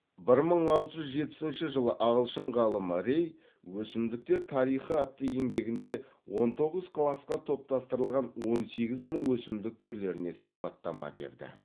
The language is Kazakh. бір мың алты жүз жетпісінші жылы ағылшын ғалымы рей өсімдіктер тарихы атты еңбегінде он тоғыз класқа топтастырылған он сегіз мың өсімдік түрлеріне сипаттама берді